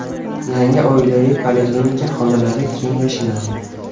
Yangi oilaviy poliklinika xonalari keng va shinam.